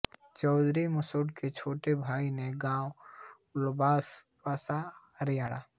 चौधरी मेंडू के छोटे भाई ने गाँव उल्लाबास बसाया हरियाणा